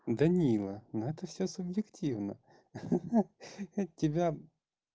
данила но это всё субъективно ха-ха от тебя